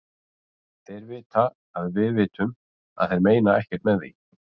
Þeir vita að við vitum að þeir meina ekkert með því.